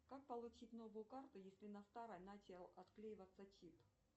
как получить новую карту если на старой начал отклеиваться чип